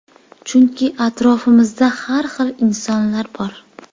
Chunki atrofimizda har xil insonlar bor.